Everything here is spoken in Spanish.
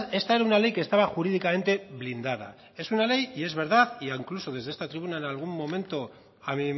esta era una ley que estaba jurídicamente blindada es una ley y es verdad y incluso desde esta tribuna en algún momento a